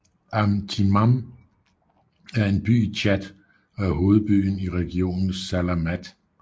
Am Timan er en by i Tchad og er hovedbyen i regionen Salamat